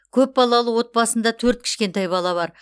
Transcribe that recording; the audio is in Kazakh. көп балалы отбасында төрт кішкентай бала бар